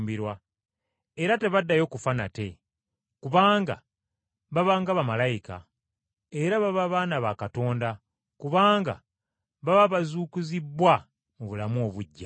era tebaddayo kufa nate, kubanga baba nga bamalayika. Era baba baana ba Katonda kubanga baba bazuukizibbwa mu bulamu obuggya,